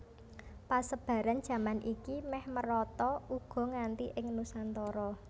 Pesebaran jaman iki méh merata uga nganti ing Nusantara